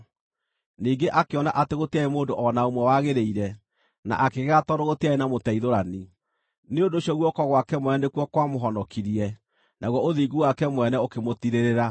Ningĩ akĩona atĩ gũtiarĩ mũndũ o na ũmwe wagĩrĩire, na akĩgega tondũ gũtiarĩ na mũteithũrani; nĩ ũndũ ũcio guoko gwake mwene nĩkuo kwamũhonokirie, naguo ũthingu wake mwene ũkĩmũtiirĩrĩra.